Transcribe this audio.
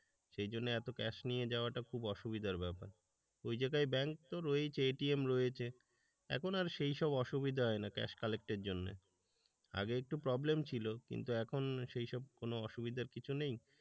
সেই জন্য এত ক্যাশ নিয়ে যাওয়াটা খুব অসুবিধার ব্যাপার। ওই জায়গায় ব্যাংক তো রয়েছে এটিএম রয়েছে এখন আর সেইসব অসুবিধা হয় না ক্যাশ কালেক্ট এর জন্য আগে একটু প্রবলেম ছিল কিন্তু এখন সেইসব কোন অসুবিধার কিছু নেই,